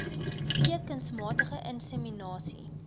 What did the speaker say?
v kunsmatige inseminasie